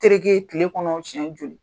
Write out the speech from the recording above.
Terike kile kɔnɔ siɲɛ joli?